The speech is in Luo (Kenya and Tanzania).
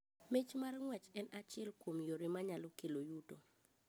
Mich mar ng'uech en achiel kuom yore ma kelo yuto.